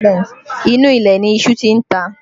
Inú ilẹ̀ ni iṣu tí ń ta